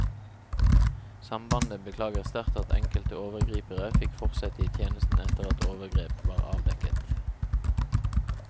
Sambandet beklager sterkt at enkelte overgripere fikk fortsette i tjenesten etter at overgrep var avdekket.